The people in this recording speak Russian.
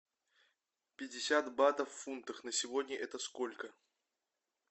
пятьдесят батов в фунтах на сегодня это сколько